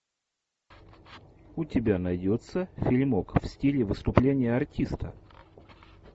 у тебя найдется фильмок в стиле выступления артиста